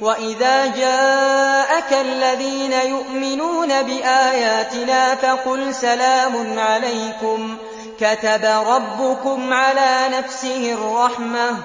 وَإِذَا جَاءَكَ الَّذِينَ يُؤْمِنُونَ بِآيَاتِنَا فَقُلْ سَلَامٌ عَلَيْكُمْ ۖ كَتَبَ رَبُّكُمْ عَلَىٰ نَفْسِهِ الرَّحْمَةَ ۖ